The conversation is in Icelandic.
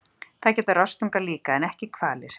Það gera rostungar líka, en ekki hvalir.